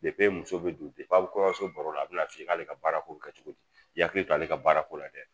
muso bɛ don a bɛ kɔɲɔso baro la a bɛna f'i ye k'ale ka baarako bi kɛ cogodi k'i k'i ahakili to ale ka baarako la dɛ.